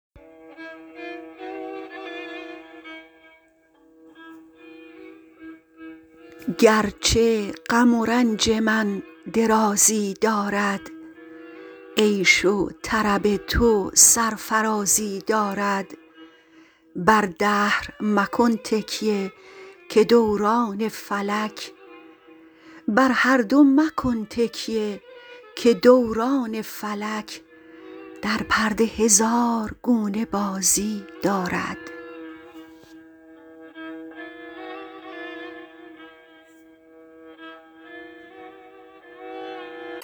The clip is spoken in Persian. گرچه غم و رنج من درازی دارد عیش و طرب تو سرفرازی دارد بر هر دو مکن تکیه که دوران فلک در پرده هزار گونه بازی دارد